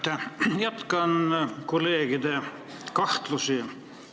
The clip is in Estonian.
Ma jagan kolleegide kahtlusi.